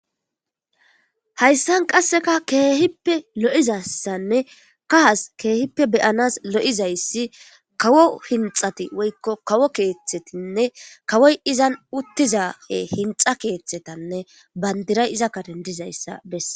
Hayssan qasseka keehippe lo'izassanne kahas keehippe beyanas lo7izayssi kawo hinxati woykko kawo keeththetinne kawoy izan uttizahe hinxa keeththetanne bandiray iza kadendizayssa besse.